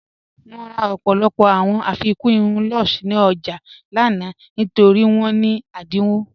Mo rà ọ̀pọ̀lọpọ̀ awọn irùn afíkun lúṣẹ̀ ní ọjà lànà nítorí wọn ní ẹdínwọ̀.